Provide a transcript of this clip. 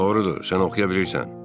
Doğrudur, sən oxuya bilirsən.